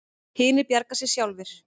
Hinir bjargi sér sjálfir.